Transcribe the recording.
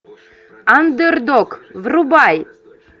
андердог врубай